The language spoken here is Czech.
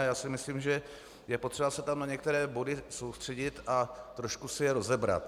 A já si myslím, že je potřeba se tam na některé body soustředit a trošku si je rozebrat.